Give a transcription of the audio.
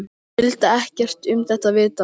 Hann vildi ekkert um þetta vita.